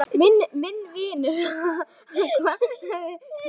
Og vilt hvað?